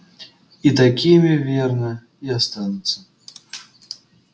и такими верно и останутся